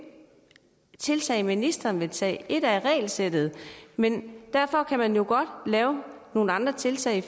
tiltag vil ministeren tage et er regelsættet men derfor kan man jo godt lave nogle andre tiltag